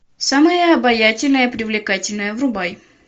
самая обаятельная и привлекательная врубай